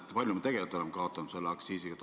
Kui palju me tegelikult oleme kaotanud oma aktsiiside tõttu?